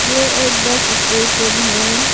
ये एक bus station है।